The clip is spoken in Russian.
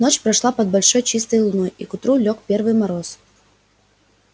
ночь прошла под большой чистой луной и к утру лёг первый мороз